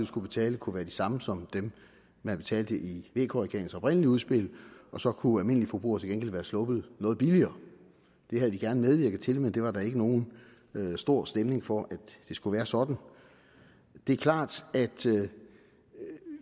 skulle betale kunne være de samme som dem man betalte i vk regeringens oprindelige udspil og så kunne almindelige forbrugere til gengæld være sluppet noget billigere det havde vi gerne medvirket til men der var der ikke nogen stor stemning for at det skulle være sådan det er klart at